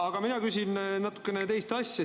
Aga mina küsin natukene teist asja.